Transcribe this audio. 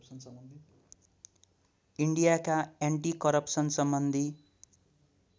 इन्डियाका anti करप्सनसम्बन्धी